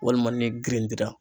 Walima ni girintira.